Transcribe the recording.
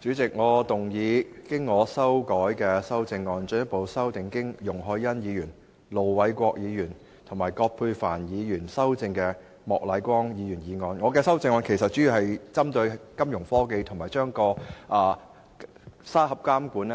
主席，我動議我經修改的修正案，進一步修正經容海恩議員、盧偉國議員及葛珮帆議員修正的莫乃光議員議案。我的修正案其實主要是針對金融科技和將"監管沙盒"擴